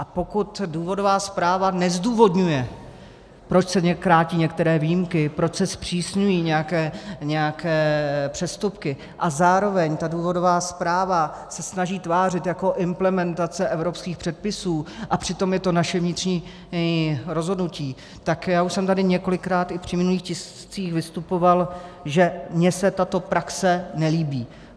A pokud důvodová zpráva nezdůvodňuje, proč se krátí některé výjimky, proč se zpřísňují nějaké přestupky, a zároveň ta důvodová zpráva se snaží tvářit jako implementace evropských předpisů, a přitom je to naše vnitřní rozhodnutí, tak já už jsem tady několikrát i při minulých tiscích vystupoval, že mně se tato praxe nelíbí.